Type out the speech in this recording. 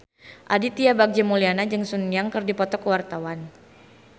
Aditya Bagja Mulyana jeung Sun Yang keur dipoto ku wartawan